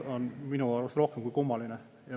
See on minu arust rohkem kui kummaline.